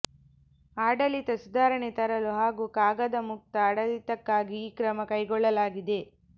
ಆಡಳಿತ ಸುಧಾರಣೆ ತರಲು ಹಾಗೂ ಕಾಗದಮುಕ್ತ ಆಡಳಿತಕ್ಕಾಗಿ ಈ ಕ್ರಮ ಕೈಗೊಳ್ಳಲಾಗಿದೆ